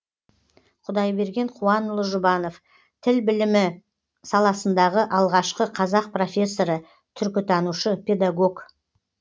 құдайберген қуанұлы жұбанов тіл білімі саласындағы алғашқы қазақ профессоры түркітанушы педагог